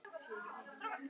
En barnið?